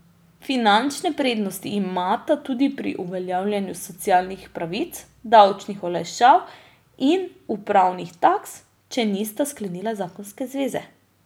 Finančne prednosti imata tudi pri uveljavljanju socialnih pravic, davčnih olajšav in upravnih taks, če nista sklenila zakonske zveze.